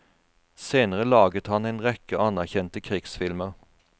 Senere laget han en rekke anerkjente krigsfilmer.